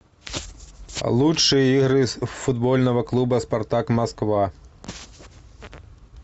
лучшие игры футбольного клуба спартак москва